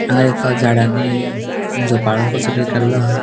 हांगा एका झाडानी झोपाळो कसो किदे केलो हा.